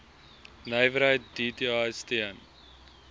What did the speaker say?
nywerheid dti steun